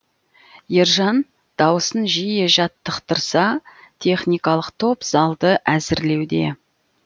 ержан дауысын жиі жаттықтырса техникалық топ залды әзірлеуде